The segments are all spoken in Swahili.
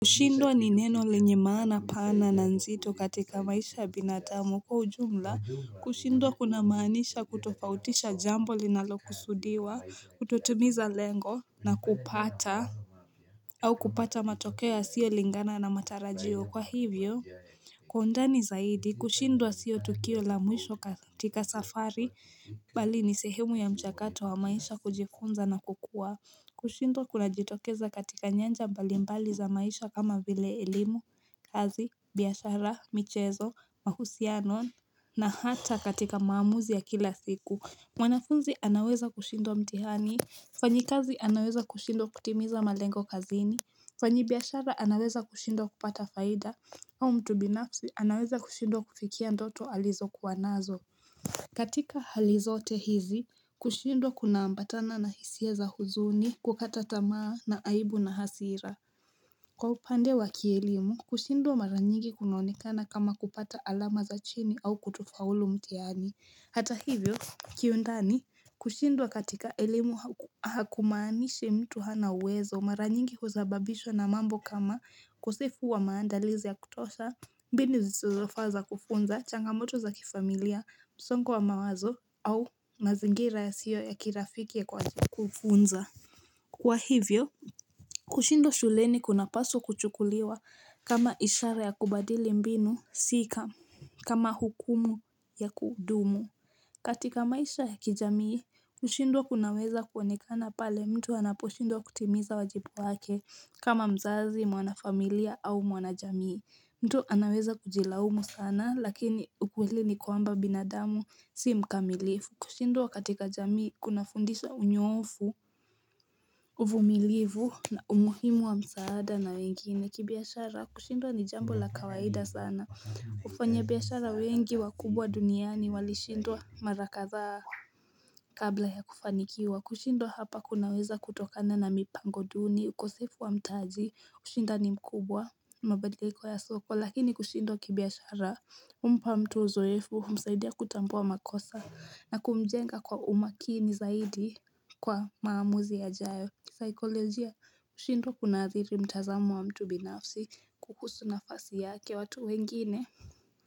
Kushindwa ni neno lenye mana pana na nzito katika maisha binatamu kwa ujumla kushindwa kuna maanisha kutofautisha jambo linalo kusudiwa kutotimiza lengo na kupata au kupata matokeo ya sio lingana na matarajio kwa hivyo Kwa undani zaidi, kushindwa siyo tukio la mwisho katika safari, bali ni sehemu ya mchakato wa maisha kujifunza na kukua. Kushindwa kuna jitokeza katika nyanja balimbali za maisha kama vile elimu, kazi, biyashara, michezo, mahusiano na hata katika maamuzi ya kila siku. Mwanafunzi anaweza kushindwa mtihani, mfanyi kazi anaweza kushindwa kutimiza malengo kazini, mfanyi biyashara anaweza kushindwa kupata faida. Au mtu binafsi anaweza kushindwa kufikia ndoto alizo kuwanazo. Katika halizote hizi, kushindwa kuna ambatana na hisia za huzuni kukata tamaa na aibu na hasira. Kwa upande wa kielimu, kushindwa mara nyingi kunoonekana kama kupata alama za chini au kutofaulu mtihani. Hata hivyo, kiyundani kushindwa katika elemu hakumaanishi mtu hana uwezo mara nyingi huzababishwa na mambo kama ukosefu wa maandalizi ya kutosha, mbinu zizofaza kufunza, changamoto za kifamilia, msongo wa mawazo au mazingira yasio ya kirafiki ya kwazi kufunza. Kwa hivyo, kushindwa shuleni kuna paso kuchukuliwa kama ishara ya kubadili mbinu sika, kama hukumu ya kudumu. Katika maisha ya kijamii, kushindwa kunaweza kuwonekana pale mtu anaposhindwa kutimiza wajipu wake kama mzazi, mwana familia au mwana jamii. Mtu anaweza kujilaumu sana lakini ukweli ni kwamba binadamu si mkamilifu. Kushindwa katika jamii kuna fundisha unyofu uvumilivu na umuhimu wa msaada na wengine kibiashara kushindwa ni jambo la kawaida sana ufanya biashara wengi wakubwa duniani walishindwa mara katha kabla ya kufanikiwa kushindwa hapa kunaweza kutokana na mipango duni ukosefu wa mtaji, ushindani mkubwa, mabadiliko ya soko Lakini kushindwa kibiashara, umpa mtu uzoefu, msaidia kutambua makosa na kumjenga kwa umakini zaidi kwa maamuzi yajayo kisaikolojia, kushindwa kuna adhiri mtazamo wa mtu binafsi kuhusu nafasi yake watu wengine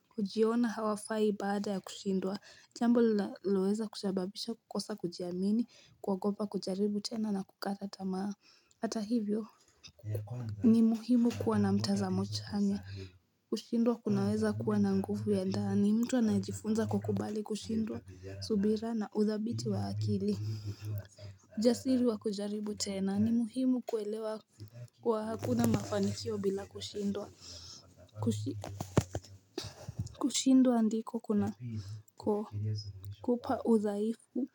kujiona hawafai baada ya kushindwa Jambo loeza kusababisha kukosa kujiamini, kwogoba kujaribu tena na kukata tamaa Hata hivyo ni muhimu kuwa na mtazamo chanya kushindwa kunaweza kuwa na ngufu ya ndani mtu anajifunza kukubali kushindwa subira na uthabiti wa akili Jasiri wa kujaribu tena ni muhimu kuelewa kuwa hakuna mafanikio bila kushindwa andiko kuna kupa udhaifu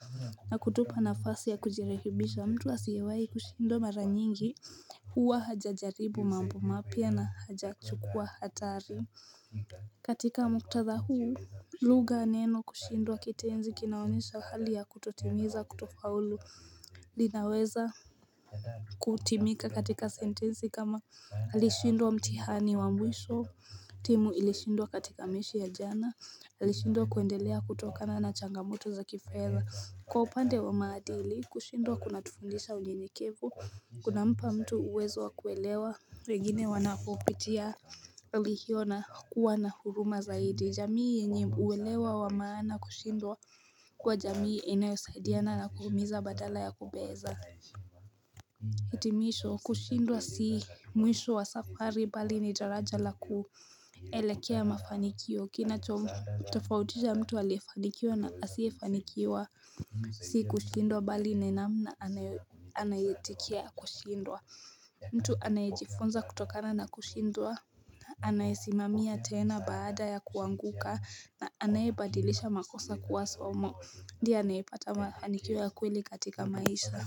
na kutupa nafasi ya kujirekibisha mtu asiewai kushindwa mara nyingi huwa hajajaribu mambo mapia na hajachukua hatari katika muktadha huu luga neno kushindwa kitenzi kinaonesha hali ya kutotimiza kutofaulu linaweza kutimika katika sentenzi kama alishindwa mtihani wa mwisho timu ilishindwa katika meshi ya jana alishindwa kuendelea kutokana na changamoto za kifedha Kwa upande wa maadili, kushindwa kuna tufundisha unyenyekevu, kuna mpa mtu uwezo wa kuelewa, wengine wanapopitia hiona kuwa na huruma zaidi. Jamii enye uwelewa wa maana kushindwa kuwa jamii eneosaidiana na kuhumiza badala ya kubeza. Hitimisho, kushindwa si mwisho wa safari bali ni daraja la kuelekea mafanikio, kina chomumtafautisha mtu aliyefanikiwa na asifanikiwa. Si kushindwa bali ni namna anayitikia kushindwa mtu anaejifunza kutokana na kushindwa Anaisimamia tena baada ya kuanguka na anayebadilisha makosa kuwaso mo Ndie anayepata mafanikiwo ya kweli katika maisha.